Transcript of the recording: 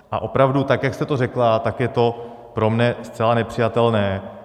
A opravdu tak jak jste to řekla, tak je to pro mě zcela nepřijatelné.